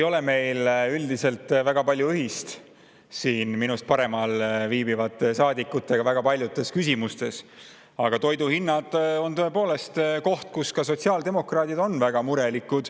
Tõepoolest ei ole meil siin minust paremal viibivate saadikutega väga paljudes küsimustes väga palju ühist, aga toidu hinnad on asi, mille pärast ka sotsiaaldemokraadid on väga mures.